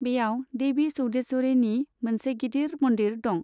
बेयाव देभि चौदेश्वरिनि मोनसे गिदिर मन्दिर दं।